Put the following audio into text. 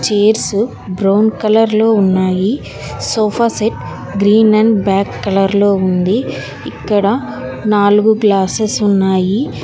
Chairs brown colour లో ఉన్నాయి sofa set green and black colour లో ఉంది ఇక్కడ నాలుగు గ్లాసెస్ ఉన్నాయి.